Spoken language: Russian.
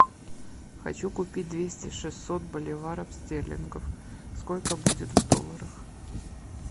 хочу купить двести шестьсот боливаров стерлингов сколько будет в долларах